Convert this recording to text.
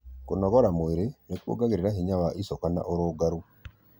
Kũnogora mwĩrĩ nĩ kũongagĩrĩra hinya wa ĩcoka na ũrungarũ.